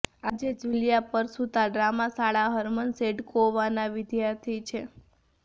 આજે Julia Parshuta drama શાળા Herman સેડકોવાના વિદ્યાર્થી છે